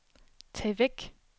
tag væk